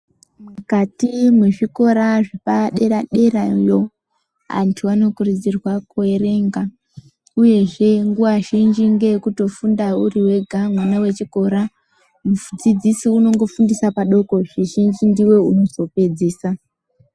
Mukati mwezvikora zvepadera derayo antu anokurudzirwa kuerenga uyezve nguwa zhinji ngeyekutofunda uriwega mwana wechikora mudzidzisi unongofundisa padoko zvizhinji ndiwe unozopedzisa.